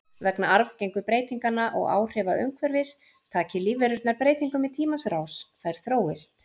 Vegna arfgengu breytinganna og áhrifa umhverfis taki lífverurnar breytingum í tímans rás, þær þróist.